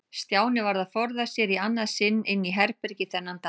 Stjáni varð að forða sér í annað sinn inn í herbergi þennan dag.